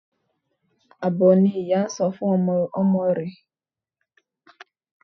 Abo ni ìyá jẹ́ fún ọmọ rẹ̀.